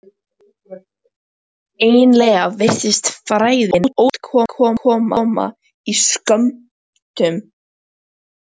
Eiginlega virtist frægðin ótrúlega oft koma í skömmtum.